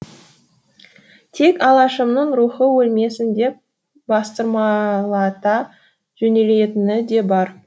тек алашымның рухы өлмесін деп бастырмалата жөнелетіні де бар